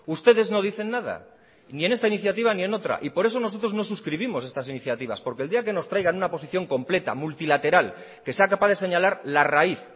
ustedes no dicen nada ni en esta iniciativa ni otra y por eso nosotros no suscribimos estas iniciativas porque el día que nos traigan una posición completa multilateral que sea capaz de señalar la raíz